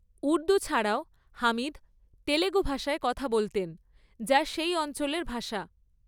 উর্দূ ছাড়াও হামিদ তেলুগু ভাষায় কথা বলতেন, যা সেই অঞ্চলের ভাষা।